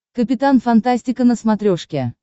капитан фантастика на смотрешке